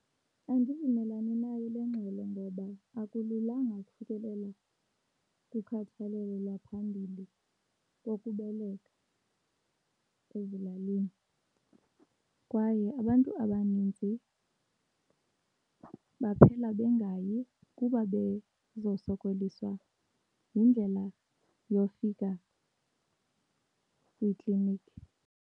Andivumelani nayo le ngxelo ngoba akululanga ukufikelela kukhathalelo lwaphambili kokubeleka ezilalini. Kwaye abantu abaninzi baphela bengayi kuba bezosokoliswa yindlela yofika kwiiklinikhi.